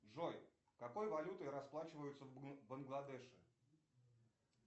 джой какой валютой расплачиваются в бангладеше